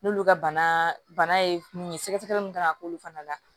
N'olu ka bana ye mun ye sɛgɛsɛgɛli min kan ka k'olu fana la